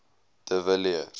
de villiers